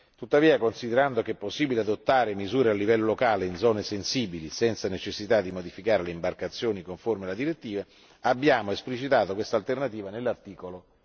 Tuttavia, considerando che è possibile adottare misure a livello locale in zone sensibili senza necessità di modificare le imbarcazioni conformi alla direttiva, abbiamo esplicitato quest'alternativa nell'articolo